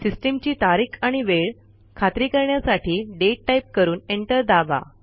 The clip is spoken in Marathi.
सिस्टीमची तारीख आणि वेळ खात्री करण्यासाठी दाते टाईप करून एंटर दाबा